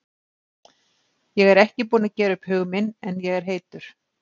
Ég er ekki búinn að gera upp hug minn en ég er heitur.